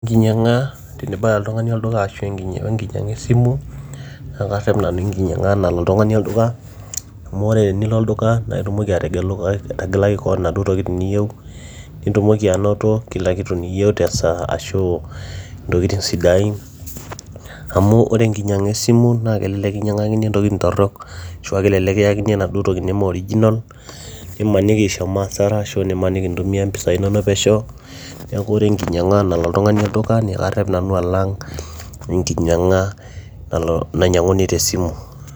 enkinyiang'a tenibaya oltung'ani olduka ashu wenkinyiang'a esimu naa karrep nanu enkinyiang'a nalo oltung'ani olduka amu ore tenilo olduka naa itumoki ategelu, ategelaki koon inaduo tokitin niyieu nitumoki anoto kila kitu niyieu tesaa ashu intokitin sidain amu ore enkinyiang'a esimu naa kelelek kinyiang'akini intokitin torrok ashua kelelek kiyakini enaduo toki neme original nimaniki ishomo asara ashu nimaniki intumia impisai inonok pesho neeku ore enkinyiang'a nalo oltung'ani olduka karrep nanu alang enkinyiang'a nainyiang'uni tesimu.